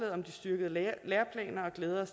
herre